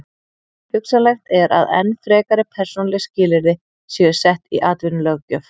Hugsanlegt er að enn frekari persónuleg skilyrði séu sett í atvinnulöggjöf.